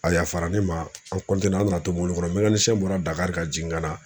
A yafara ne ma an an nana to mobili kɔnɔ bɔra Dakari ka jigin ka na.